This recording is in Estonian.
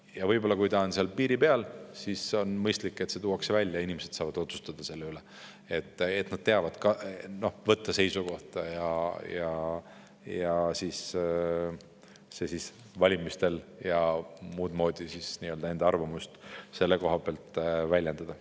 Ja võib-olla, kui ta on seal piiri peal, siis on mõistlik, et see tuuakse välja ja inimesed saavad otsustada selle üle, nad teavad ka võtta seisukohta ning siis valimistel ja muud moodi enda arvamust selle koha pealt väljendada.